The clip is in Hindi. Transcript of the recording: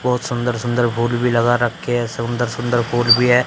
बहुत सुंदर सुंदर फूल भी लगा रखे हैं सुंदर सुंदर फूल भी हैं।